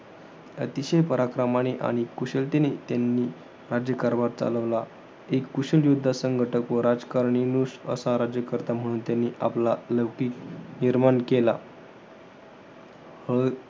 अतिशय पराक्रमाने आणि कुशलतेने राज्यकारभार चालवला. एक कुशल युध्द संघटक व राजकारणीनुश असा राज्यकर्ता म्हणून त्यांनी आपला लौकिक निर्माण केला. अं